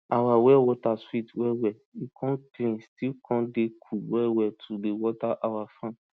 our well water sweet well well e con clean still con dey cool well well to dey water our farm